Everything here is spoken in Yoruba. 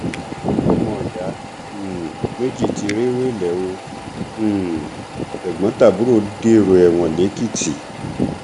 ọmọọyá um méjì tí rèwélẹ ò um tẹgbọntàbúrò dèrò ẹwọn lẹkìtì